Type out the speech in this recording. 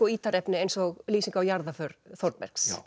ítarefni eins og lýsing á jarðarför Þórbergs